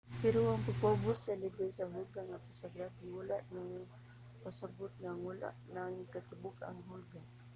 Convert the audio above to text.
pero ang pagpaubos sa lebel sa hulga ngadto sa grabe wala nagpasabot nga ang nawala na ang katibuk-ang hulga.